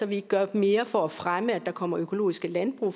vi ikke gør mere for at fremme at der kommer økologiske landbrug